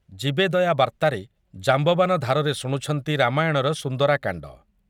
ଜୀବେଦୟା ବାର୍ତ୍ତାରେ ଜାମ୍ବବାନ ଧାରରେ ଶୁଣୁଛନ୍ତି ରାମାୟଣର ସୁନ୍ଦରାକାଣ୍ଡ ।